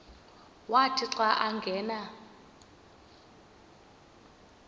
wathi xa angena